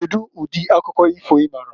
Kedu ụdị akụkọ ifo ịmaara?